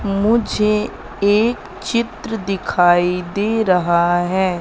मुझे एक चित्र दिखाई दे रहा है।